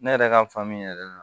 Ne yɛrɛ ka faamu yɛrɛ la